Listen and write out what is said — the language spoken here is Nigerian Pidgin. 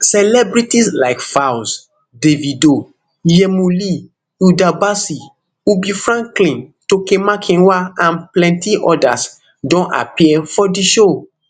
celebrities like falz davido yhemo lee hilda bacci ubi franklin toke makinwa and plenti odas don appear for di show